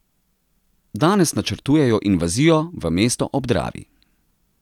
Danes načrtujejo invazijo v mesto ob Dravi.